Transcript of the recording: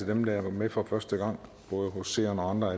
dem der er med for første gang som seer og andre